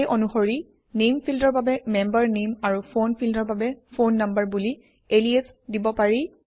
সেই অনুসৰি নামে ফিল্ডৰ বাবে মেম্বাৰ নামে আৰু ফোন ফিল্ডৰ বাবে ফোন নাম্বাৰ বুলি এলিয়াছ দিব পাৰি